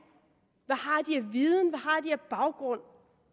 af viden hvad har de af baggrund